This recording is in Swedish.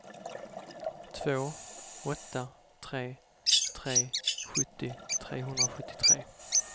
två åtta tre tre sjuttio trehundrasjuttiotre